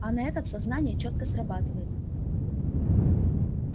а на этот сознание чётко срабатывает